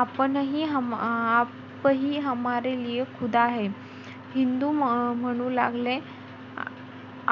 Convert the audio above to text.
आपणही , हिंदूही म्हणू लागले